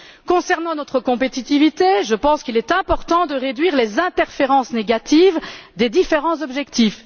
Concernant notre compétitivité, je pense qu'il est important de réduire les interférences négatives des différents objectifs.